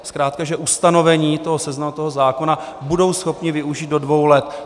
Zkrátka že ustanovení toho seznamu, toho zákona, budou schopni využít do dvou let.